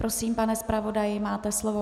Prosím, pane zpravodaji, máte slovo.